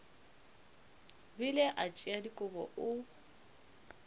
bile a tšea dikobo o